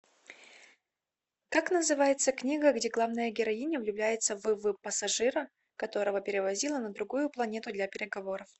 как называется книга где главная героиня влюбляется в в пассажира которого перевозила на другую планету для переговоров